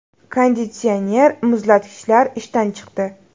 Konditsioner, muzlatgichlar ishdan chiqdi.